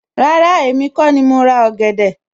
Rárá, èmi kó ni mo ra ọ̀gẹ̀dẹ̀